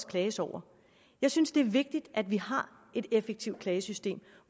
klages over jeg synes det er vigtigt at vi har et effektivt klagesystem